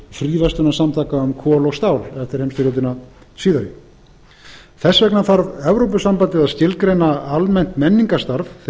fríverslunarsamtaka um kol og stál eftir heimsstyrjöldina síðari þess vegna þarf evrópusambandið að skilgreina almennt menningarstarf